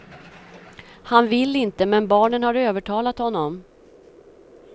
Han vill inte, men barnen har övertalat honom.